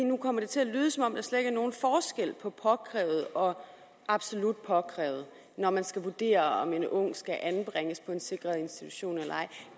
nu kommer det til at lyde som om der slet ikke er nogen forskel på påkrævet og absolut påkrævet når man skal vurdere om en ung skal anbringes på en sikret institution eller ej